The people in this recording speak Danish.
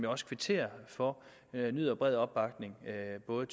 også kvitterer for nyder bred opbakning af både